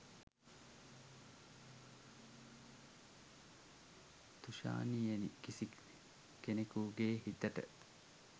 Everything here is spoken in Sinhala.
තුෂාණියෙනි කිසි කෙනෙකුගෙ හිතට